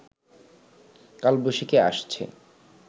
কালবৈশাখী আসছে